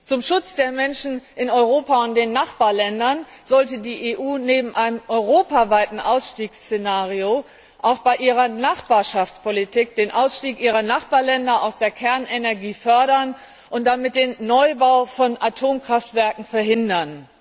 Zum Schutz der Menschen in Europa und den Nachbarländern sollte die EU neben einem europaweiten Ausstiegsszenario auch bei ihrer Nachbarschaftspolitik den Ausstieg ihrer Nachbarländer aus der Kernenergie fördern und damit den Neubau von Atomkraftwerken verhindern.